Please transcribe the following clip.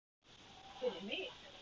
Fyrir mig?